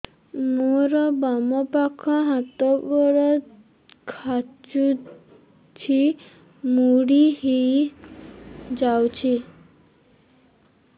ମୋର ବାମ ପାଖ ହାତ ଗୋଡ ଖାଁଚୁଛି ମୁଡି ହେଇ ଯାଉଛି